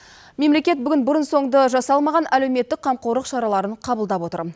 мемлекет бүгін бұрын соңды жасалмаған әлеуметтік қамқорлық шараларын қабылдап отыр